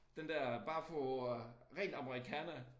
Den der bare for at ren amerikaner